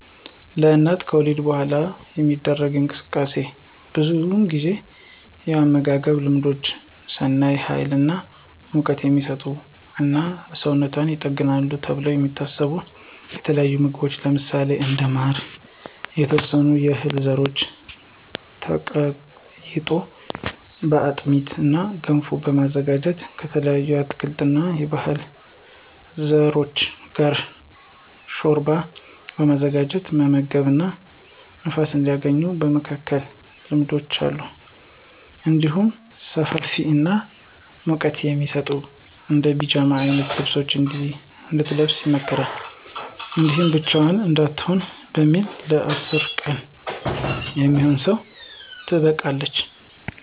ለአንድ እናት ከወሊድ በኃላ የሚደረግ እንክብካቤ ብዙውን ጊዜ የአመጋገብ ልማዶች ስናይ ሀይል እና ሙቀት" የሚሰጡ እና ሰውነቷን ይጠግናሉ ተብለው የሚታሰቡ የተለያዩ ምግቦች ለምሳሌ እንደ ማር፣ የተወሰኑ የህል ዘሮች ተቀይጦ በአጥሚት እና ገንፎ በማዘጋጀት እና ከተለያዩ የአትክልት እና የዕህል ዘሮች ጋር ሾርባ በማዘጋጀት መመገብ እና ንፋስ እንዳያገኛት የመከላከል ልማዶች አሉ። እንዲሁም ሰፋፊ የሆኑ እና ሙቀት የሚሰጡ እንደ ፒጃማ አይነት ልብሶችን እንድትለብስ ይመከራል። እንዲሁም ብቻዋን እንዳትሆን በሚል ለ10 ቀን የሚሆን በሰው ትጠበቃለች።